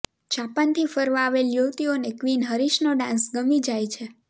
જાપનથી ફરવા આવેલ યુવતીઓને ક્વિન હરીશનો ડાન્સ ગમી જાય છે